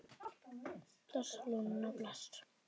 Bless, Lúna, bless.